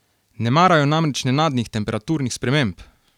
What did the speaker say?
Ne marajo namreč nenadnih temperaturnih sprememb!